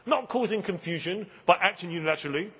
not causing confusion by acting unilaterally.